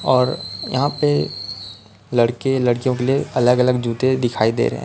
और यहां पे लड़के लड़कियों के लिए अलग अलग जूते दिखाई दे रहे है।